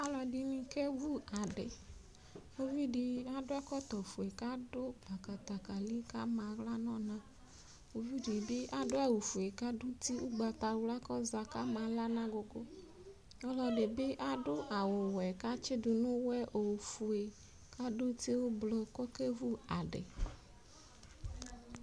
Alɔdini kevʋ adi ʋvidi adʋ ɛkɔtɔfue kʋ adʋ adatakali kʋ ama aɣla nʋ ɔna ʋvidi bi adʋ awʋfue kʋ adʋ uti ʋgbatawla kʋ ɔza kʋ ama aɣla nʋ agʋgʋ ɔlɔdibi adʋ awʋwɛ kʋ atsidʋ nʋ ʋwɛ ofue kʋ adʋ uti ʋblʋ kʋ ɔkevʋ adi